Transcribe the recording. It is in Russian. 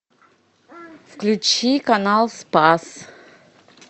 включи канал спас